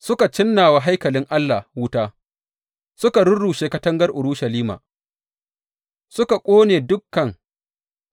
Suka cinna wa haikalin Allah wuta, suka rurrushe katangar Urushalima; suka ƙone dukan